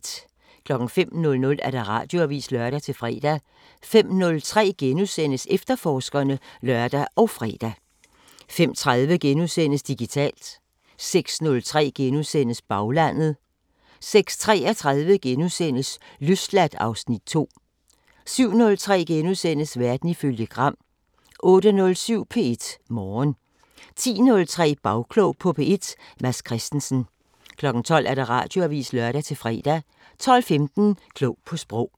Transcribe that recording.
05:00: Radioavisen (lør-fre) 05:03: Efterforskerne *(lør og fre) 05:30: Digitalt * 06:03: Baglandet * 06:33: Løsladt (Afs. 2)* 07:03: Verden ifølge Gram * 08:07: P1 Morgen 10:03: Bagklog på P1: Mads Christensen 12:00: Radioavisen (lør-fre) 12:15: Klog på Sprog